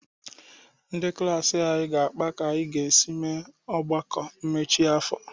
Ndị klaasị anyị ga-akpa ka anyị ga-esi mee ọgbakọ mmechi afọ.